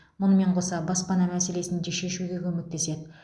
мұнымен қоса баспана мәселесін де шешуге көмектеседі